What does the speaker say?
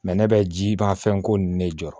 ne bɛ ji bɔn a fɛn ko ninnu de jɔ